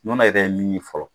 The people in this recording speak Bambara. Nɔnɔ ye i bɛ min min fɔlɔ.